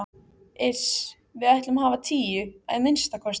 Iss. við ætlum að hafa tíu, að minnsta kosti.